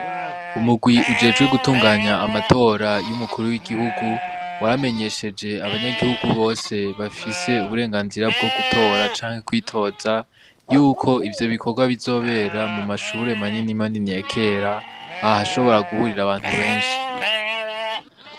Umurwi ujejwe gutunganya amatora y'umukuru w'igihugu waramenyesheje abanyagihugu bose bafise uburenganzira bwo gutora canke kwitoza yuko ivyo bikorwa bizobera mu mashure manini manini ya kera ahashobora guhurira abantu benshi.